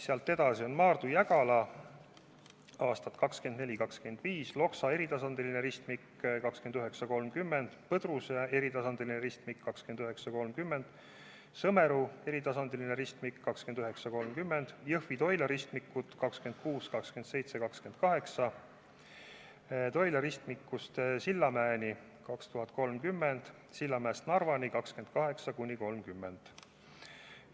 Sealt edasi tulevad Maardu–Jägala aastatel 2024–2025, Loksa eritasandiline ristmik 2029–2030, Põdruse eritasandiline ristmik 2029–2030, Sõmeru eritasandiline ristmik 2029–2030, Jõhvi–Toila ristmikud 2026, 2027 ja 2028, Toila ristmikust Sillamäeni 2030, Sillamäest Narvani 2028–2030.